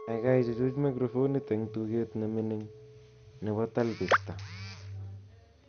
kaikai ichuch microphonit en tuget nmining nebo talbista